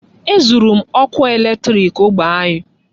E zụrụ m ọkụ eletriki ógbè anyị.